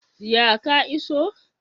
Ya ka iso?